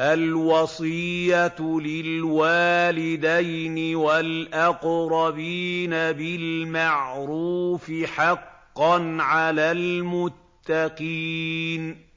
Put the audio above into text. الْوَصِيَّةُ لِلْوَالِدَيْنِ وَالْأَقْرَبِينَ بِالْمَعْرُوفِ ۖ حَقًّا عَلَى الْمُتَّقِينَ